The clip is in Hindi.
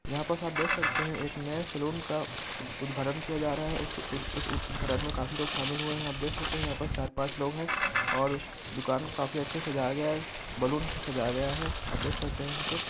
यहाँ पर आप देख सकते हैं एक नए सलून का उद्घाटन किआ जा रहे है उस -उस उद्घाटन में काफी लोग शामिल हुए हैं आप देख सकते हैं यहा चार पांच लोग है और दूकान को काफी अच्छे से सजाया गया है बैलून से सजाया गया है आप देख सकते हैं यहाँ पस --